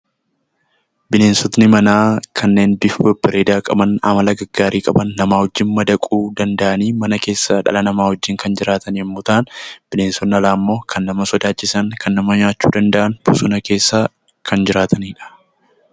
Bineensonni manaa kanneen bifa babbareedaa qaban, amala gaggaarii qaban, nama wajjin madaquu danda'an, mana keessa dhala namaa wajjin kan jiraatan yommuu ta'an; Bineensonni alaa immoo kan nama sodaachisan, kan nama nyaachuu danda'an, bosona keessa kan jiraatani dha.